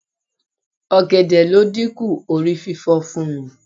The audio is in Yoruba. Ọ̀gẹ̀dẹ̀ ló dínkù orí fífọ fún mi.